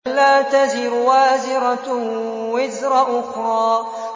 أَلَّا تَزِرُ وَازِرَةٌ وِزْرَ أُخْرَىٰ